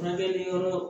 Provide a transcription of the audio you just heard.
Furakɛli yɔrɔ